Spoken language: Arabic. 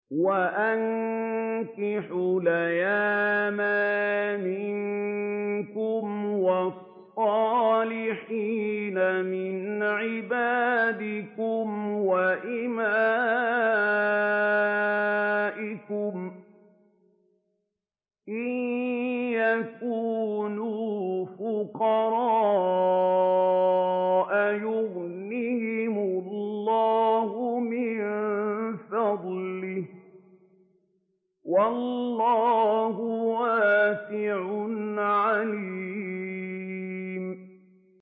وَأَنكِحُوا الْأَيَامَىٰ مِنكُمْ وَالصَّالِحِينَ مِنْ عِبَادِكُمْ وَإِمَائِكُمْ ۚ إِن يَكُونُوا فُقَرَاءَ يُغْنِهِمُ اللَّهُ مِن فَضْلِهِ ۗ وَاللَّهُ وَاسِعٌ عَلِيمٌ